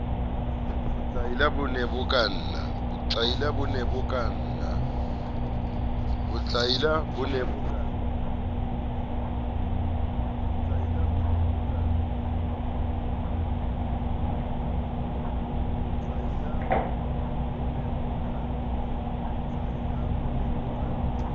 botlaila bo ne bo kanna